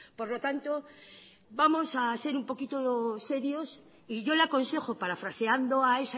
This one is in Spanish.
por lo tanto vamos a ser un poquito serios y yo le aconsejo parafraseando a